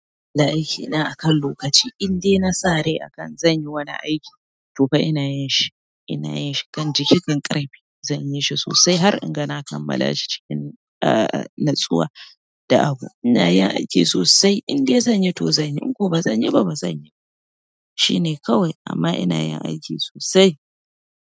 Ina akina akan lokaci, indai na sa ri akan zanyi wani aiki tufa ina yanshi, ina yanshi kan jiki kan ƙarami. Zanyi shi sosai har inga na kammala shi cikin aa natsuwa da abu. Ina yin aiki sosai indai zanyi to zanyi, in ko bazanyi ba bazanyi. Shine kawai amma ina yin aiki sosai.